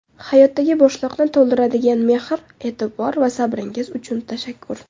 Hayotdagi bo‘shliqni to‘ldiradigan mehr, e’tibor va sabringiz uchun tashakkur.